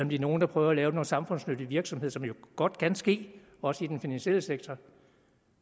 de er nogle der prøver at lave noget samfundsnyttig virksomhed som jo godt kan ske også i den finansielle sektor